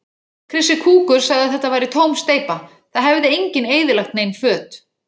Krissi kúkur sagði að þetta væri tóm steypa, það hefði enginn eyðilagt nein föt.